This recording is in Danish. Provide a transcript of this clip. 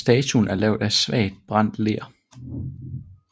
Statuen er lavet af svagt brændt ler